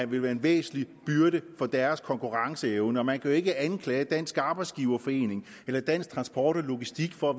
vil være en væsentlig byrde for deres konkurrenceevne og man kan jo ikke anklage dansk arbejdsgiverforening eller dansk transport og logistik for at